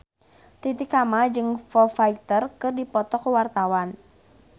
Titi Kamal jeung Foo Fighter keur dipoto ku wartawan